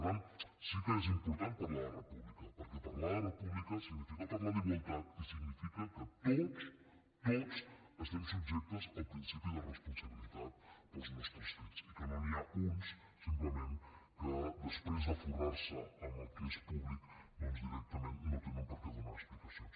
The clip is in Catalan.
per tant sí que és important parlar de república perquè parlar de república significa parlar d’igualtat i significa que tots tots estem subjectes al principi de responsabilitat pels nostres fets i que no n’hi ha uns simplement que després de forrar se amb el que és públic doncs directament no tenen per què donar explicacions